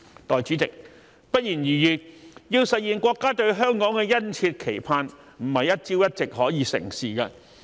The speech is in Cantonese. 代理主席，不言而喻，要實現國家對香港的殷切期盼，非一朝一夕可以成事。